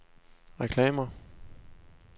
reklamer